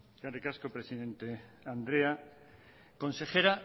eskerrik asko presidente andrea consejera